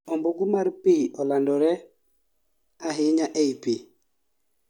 ombugu mar pi olandore ahinya ei pi